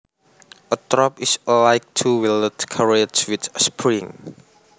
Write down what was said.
A trap is a light two wheeled carriage with springs